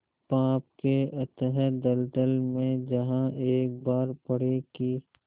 पाप के अथाह दलदल में जहाँ एक बार पड़े कि